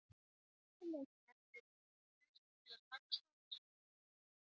Allir leikmenn eru tilbúnir til að takast á við verkefnið á morgun.